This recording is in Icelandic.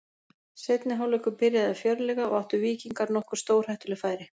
Seinni hálfleikur byrjaði fjörlega og áttu Víkingar nokkur stórhættuleg færi.